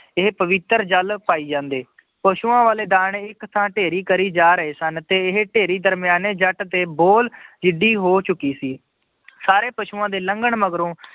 ਇਹ ਪਵਿੱਤਰ ਜਲ ਪਾਈ ਜਾਂਦੇ, ਪਸੂਆਂ ਵਾਲੇ ਦਾਣੇ ਇੱਕ ਥਾਂ ਢੇਰੀ ਕਰੀ ਜਾ ਰਹੇ ਸਨ ਤੇ ਇਹ ਢੇਰੀ ਦਰਮਿਆਨੇ ਜੱਟ ਤੇ ਬੋਲ ਜਿੱਡੀ ਹੋ ਚੁੱਕੀ ਸੀ ਸਾਰੇ ਪਸੂਆਂ ਦੇ ਲੰਘਣ ਮਗਰੋਂ